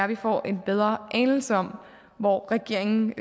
vi får en bedre anelse om hvor regeringen